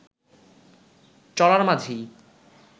চলার মাঝেই